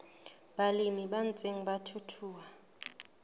balemi ba ntseng ba thuthuha